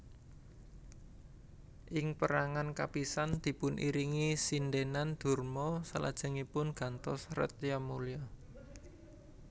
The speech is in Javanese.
Ing pérangan kapisan dipun iringi sindhènan Durma salajengipun gantos Retnamulya